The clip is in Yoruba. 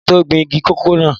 Máa tó gbin igi kòkó náà.